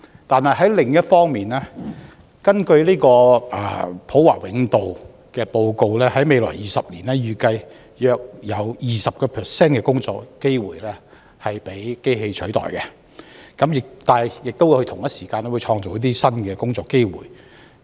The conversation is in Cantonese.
但另一方面，根據普華永道的報告，在未來20年，預計約有 20% 的工作機會將被機器取代，但同時亦會創造新的工作機會。